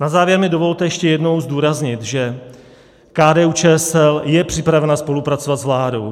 Na závěr mi dovolte ještě jednou zdůraznit, že KDU-ČSL je připravena spolupracovat s vládou.